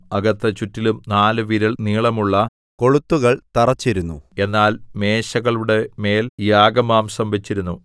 അകത്ത് ചുറ്റിലും നാല് വിരൽ നീളമുള്ള കൊളുത്തുകൾ തറച്ചിരുന്നു എന്നാൽ മേശകളുടെ മേൽ യാഗമാംസം വച്ചിരുന്നു